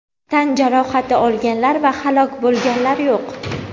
Tan jarohati olganlar va halok bo‘lganlar yo‘q.